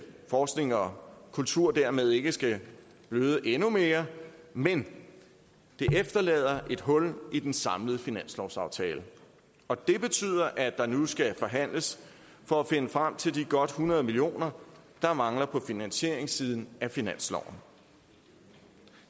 forskning og kultur dermed ikke skal bløde endnu mere men det efterlader et hul i den samlede finanslovsaftale og det betyder at der nu skal forhandles for at finde frem til de godt hundrede million kr der mangler på finansieringssiden af finansloven